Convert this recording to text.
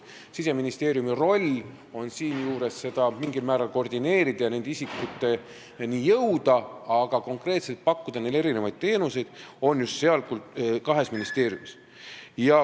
Siseministeeriumi roll on siinjuures seda mingil määral koordineerida ja nende isikuteni jõuda, aga konkreetselt pakuvad neile teenuseid just need kaks ministeeriumi.